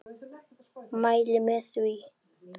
Mæli með því.